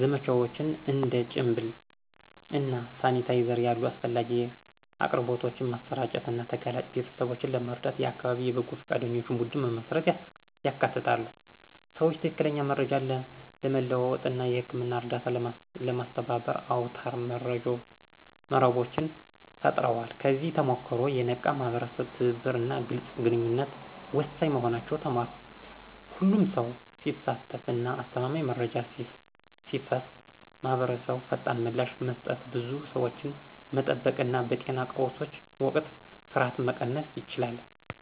ዘመቻዎች፣ እንደ ጭንብል እና ሳኒታይዘር ያሉ አስፈላጊ አቅርቦቶችን ማሰራጨት እና ተጋላጭ ቤተሰቦችን ለመርዳት የአካባቢ የበጎ ፈቃደኞች ቡድን መመስረትን ያካትታሉ። ሰዎች ትክክለኛ መረጃን ለመለዋወጥ እና የህክምና እርዳታን ለማስተባበር አውታረ መረቦችን ፈጥረዋል። ከዚህ ተሞክሮ፣ የነቃ የማህበረሰብ ትብብር እና ግልጽ ግንኙነት ወሳኝ መሆናቸውን ተማርኩ። ሁሉም ሰው ሲሳተፍ እና አስተማማኝ መረጃ ሲፈስ ማህበረሰቡ ፈጣን ምላሽ መስጠት፣ ብዙ ሰዎችን መጠበቅ እና በጤና ቀውሶች ወቅት ፍርሃትን መቀነስ ይችላል።